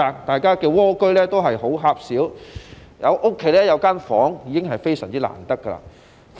大家的"蝸居"也很狹小，家中有一個房間已是非常難得。